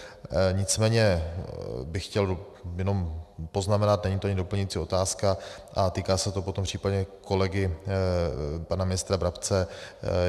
Nicméně bych chtěl jenom poznamenat, není to ani doplňující otázka a týká se to potom případně kolegy pana ministra Brabce.